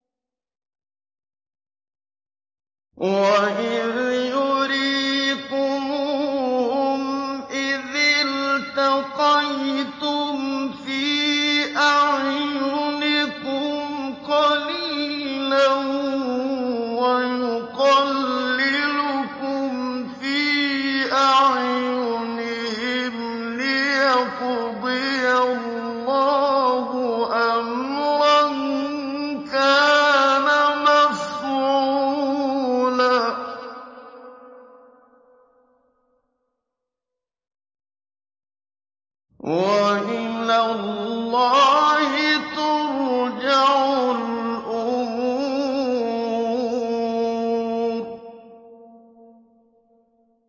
وَإِذْ يُرِيكُمُوهُمْ إِذِ الْتَقَيْتُمْ فِي أَعْيُنِكُمْ قَلِيلًا وَيُقَلِّلُكُمْ فِي أَعْيُنِهِمْ لِيَقْضِيَ اللَّهُ أَمْرًا كَانَ مَفْعُولًا ۗ وَإِلَى اللَّهِ تُرْجَعُ الْأُمُورُ